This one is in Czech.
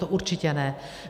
To určitě ne.